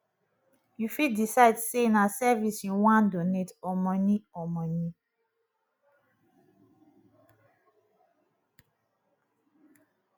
you fit decide sey na service you wan donate or money or money